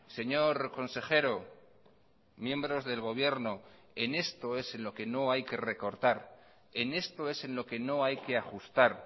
señor consejero miembros del gobierno en esto es en lo que no hay que recortar en esto es en lo que no hay que ajustar